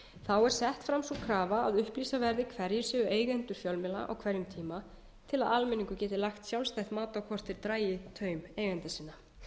er sett fram sú krafa að upplýsa verði hverjir séu eigendur fjölmiðla á hverjum tíma til að almenningur geti lagt sjálfstætt mat á hvort þeir dragi taum eigenda sinna